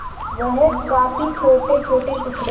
वह काफी छोटेछोटे टुकड़े